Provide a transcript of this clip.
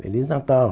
Feliz Natal!